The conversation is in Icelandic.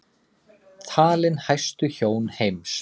Talin hæstu hjón heims